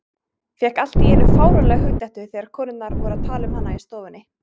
Fékk allt í einu fáránlega hugdettu þegar konurnar voru að tala um hana í stofunni.